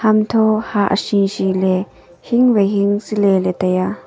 hantho hah shi shiley hing wai hing siley taiya.